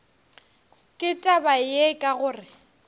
ka taba ye ka gore